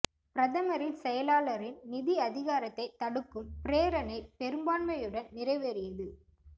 பிரதமரின் செயலாளரின் நிதி அதிகாரத்தை தடுக்கும் பிரேரணை பெரும்பான்மையுடன் நிறைவேறியது